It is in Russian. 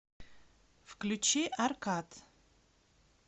включи аркад